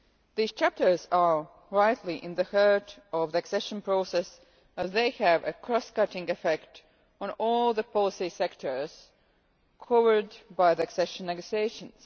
These chapters are rightly at the heart of the accession process as they have a cross-cutting effect on all the policy sectors covered by the accession negotiations.